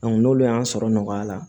n'olu y'an sɔrɔ nɔgɔya la